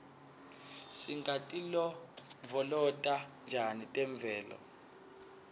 singatilondvolota njani temvelo